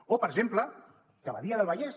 o per exemple que badia del vallès